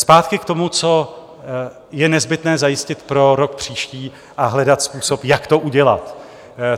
Zpátky k tomu, co je nezbytné zajistit pro rok příští a hledat způsob, jak to udělat.